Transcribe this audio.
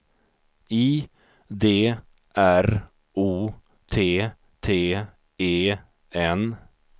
I D R O T T E N